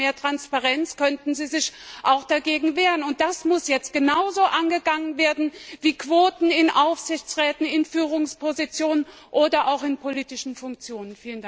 Hätten wir dort mehr Transparenz, könnten sie sich auch dagegen wehren, und das muss jetzt genauso angegangen werden wie Quoten in Aufsichtsräten, in Führungspositionen oder auch in politischen Funktionen.